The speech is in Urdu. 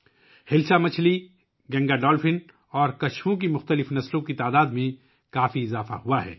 ہلسا مچھلی، گنگا ڈولفن اور کچھوؤں کی مختلف اقسام کی تعداد میں نمایاں اضافہ ہوا ہے